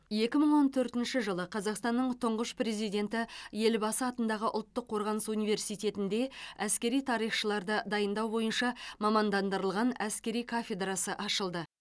екі мың он төртінші жылы қазақстанның тұңғыш президенті елбасы атындағы ұлттық қорғаныс университетінде әскери тарихшыларды дайындау бойынша мамандандырылған әскери кафедрасы ашылды